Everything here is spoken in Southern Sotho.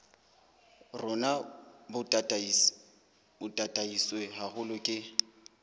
rona bo tataiswe haholo ke